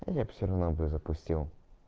я бы всё равно бы запустил